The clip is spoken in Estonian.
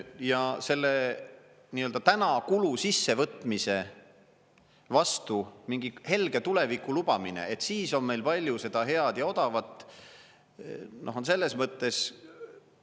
Ja selle nii-öelda täna kulu sissevõtmise vastu mingi helge tuleviku lubamine, et siis on meil palju seda head ja odavat, on selles mõttes …